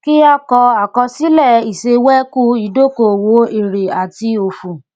kí a kọ àkọsílẹ ìṣewẹkú ìdókòòwò èrè àti òfò